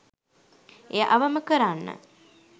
එය අවම කරන්න